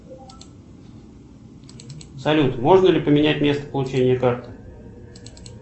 салют можно ли поменять место получения карты